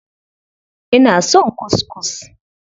Ina son kuskus.